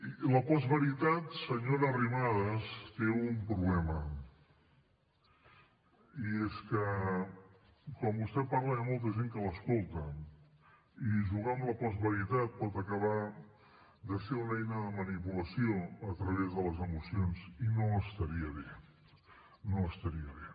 i la postveritat senyora arrimadas té un problema i és que quan vostè parla hi ha molta gent que l’escolta i jugar amb la postveritat pot acabar sent una eina de manipulació a través de les emocions i no estaria bé no estaria bé